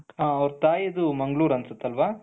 ಅವರ ತಾಯಿದು ಮಂಗಳೂರು ಅನ್ಸುತ್ತೆ ಅಲ್ವಾ,